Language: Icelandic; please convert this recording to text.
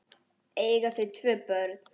Eiga þau tvö börn.